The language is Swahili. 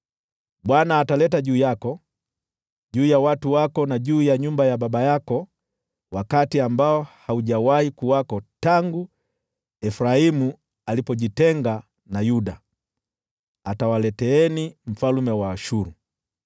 Bwana ataleta juu yako, juu ya watu wako, na juu ya nyumba ya baba yako wakati ambao haujawahi kuwako tangu Efraimu alipojitenga na Yuda: yeye atawaleteeni mfalme wa Ashuru.”